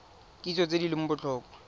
kitso tse di leng botlhokwa